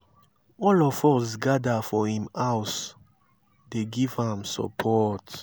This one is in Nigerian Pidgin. all of us gather for im house dey give am support.